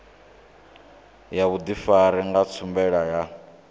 ya vhudifari ya tshumelo ya